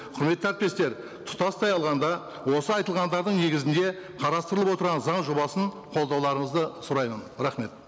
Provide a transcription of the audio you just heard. құрметті әріптестер тұтастай алғанда осы айтылғандардың негізінде қарастырылып отырған заң жобасын қолдауларыңызды сұраймын рахмет